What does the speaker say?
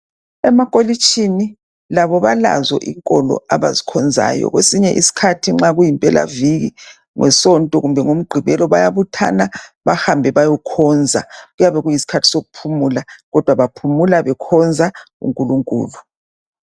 Emakolitshini labo balazo inkolo abazikhonzayo kwesinye isikhathi nxa kuyi mpelaviki ngensonto kumbe ngoMgqibelo bayabuthana bahambe bayekhonza kodwa kuyabe kuyisikhathi sokuphumula kodwa baphumula bekhonza unkulunkulu.